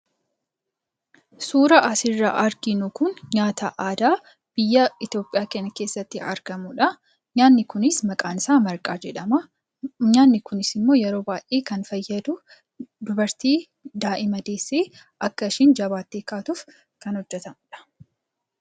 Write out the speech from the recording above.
Suura asirraa arginu Kun, nyaata aadaa biyya Itoophiyaa kana keessatti argamudha. Nyaanni Kunis maqaan isaa marqaa jedhama. Nyaanni Kunis yeroo baayyee kan fayyadu dubartii daa'ima deessee akka isheen jabaattee kaatuuf kan hojjetamudha.